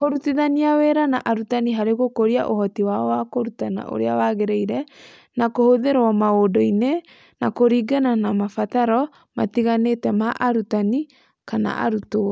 Kũrutithania wĩra na arutani harĩ gũkũria ũhoti wao wa kũrutana ũrĩa wagĩrĩire, na kũhũthĩrũo maũndũ-inĩ, na kũringana na mabataro matiganĩte ma arutani/ arutwo.